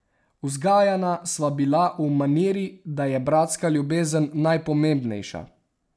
Vzgajana sva bila v maniri, da je bratska ljubezen najpomembnejša.